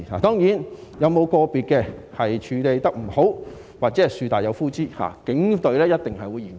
當然，有個別事件處理不當，或者"樹大有枯枝"，警隊一定會嚴查。